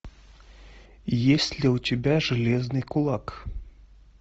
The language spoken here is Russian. есть ли у тебя железный кулак